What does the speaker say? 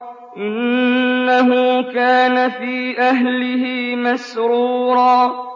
إِنَّهُ كَانَ فِي أَهْلِهِ مَسْرُورًا